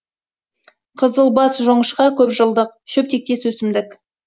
қызылбас жоңышқа көп жылдық шөп тектес өсімдік